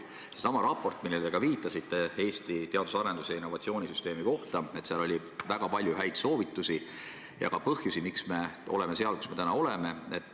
Sellessamas raportis Eesti teadus- ja arendustegevuse ning innovatsioonisüsteemi kohta, millele te viitasite, oli väga palju häid soovitusi ja ka põhjusi, miks me oleme praegu seal, kus me oleme.